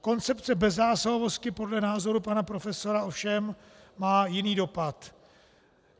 Koncepce bezzásahovosti podle názoru pana profesora ovšem má jiný dopad.